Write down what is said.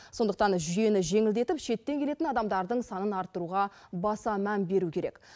сондықтан жүйені жеңілдетіп шеттен келетін адамдардың санын арттыруға баса мән беру керек